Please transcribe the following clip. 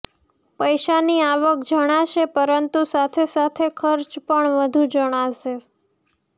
પૈસાની આવક જણાશે પરંતુ સાથે સાથે ખર્ચ પણ વધુ જણાશે